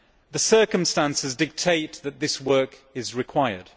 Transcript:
The circumstances dictate that this work is required.